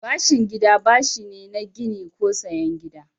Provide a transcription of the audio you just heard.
Bashin gida bashi ne na gini ko sayen gidaje.